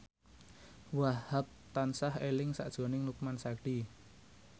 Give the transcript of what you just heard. Wahhab tansah eling sakjroning Lukman Sardi